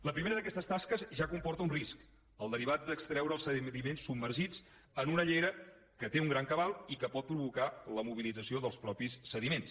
la primera d’aquestes tasques ja comporta un risc el derivat d’extreure els sediments submergits en una llera que té un gran cabal i que pot provocar la mobilització dels mateixos sediments